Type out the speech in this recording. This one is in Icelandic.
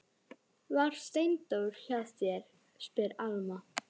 Var Steindór hjá þér, spyr Alma.